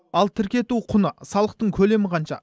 ал тіркету құны салықтың көлемі қанша